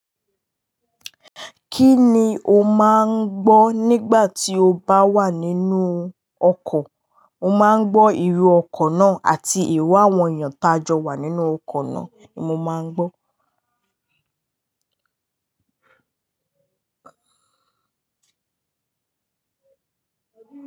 Kí ni o máa ń gbọ́ nígbà tí o bá wà nínú ọkọ̀? Mo máa ń gbọ́ ìró ọkọ̀ náà àti ìró àwọn èèyàn tá jọ wà nínú ọkọ̀ náà ni mo máa ń gbọ́.